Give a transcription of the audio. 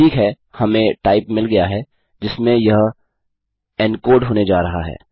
ठीक है हमें टाइप मिल गया है जिसमें यह एनकोड होने जा रहा है